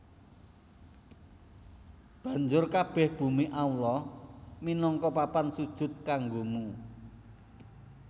Banjur kabèh bumi Allah minangka papan sujud kanggomu